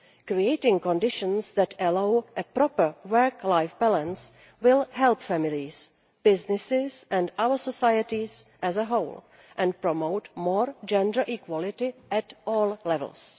Creating conditions that allow a proper work life balance will help families, businesses and our societies as a whole and will promote more gender equality at all levels.